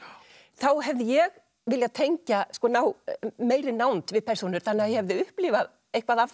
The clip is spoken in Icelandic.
þá hefði ég viljað tengja ná meiri nánd við persónur þannig að ég hefði upplifað eitthvað af